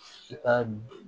I ka